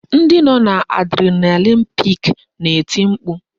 Ndị nọ n'adrenalin pik na-eti mkpu